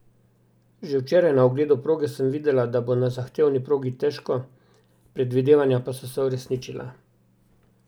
Že včeraj na ogledu proge sem videla, da bo na zahtevni progi težko, predvidevanja pa so se uresničila.